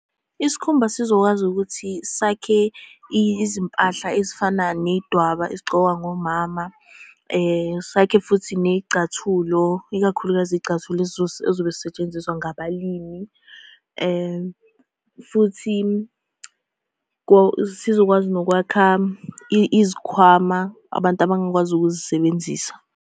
Isikhumba sizokwazi ukuthi sakhe izimpahla ezifana ney'dwaba ezigcokwa ngomama. Sakhe futhi ney'cathulo ikakhulukazi iy'cathulo ezobe zisetshenziswa ngabalimi, and futhi sizokwazi nokwakha izikhwama abantu abangakwazi ukuzisebenzisa.